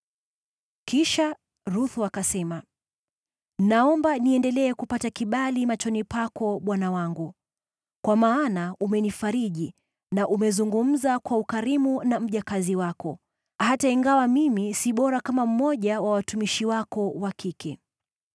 Kisha Ruthu akasema, “Naomba niendelee kupata kibali machoni pako, bwana wangu. Kwa maana umenifariji na umezungumza kwa ukarimu na mjakazi wako, hata ingawa mimi si bora kama mmoja wa watumishi wako wa kike.”